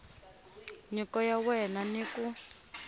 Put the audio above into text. nyiko ya wena ni ku